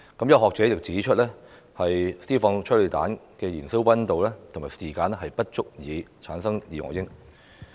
有學者指出，施放催淚彈的燃燒溫度和時間不足以產生二噁英。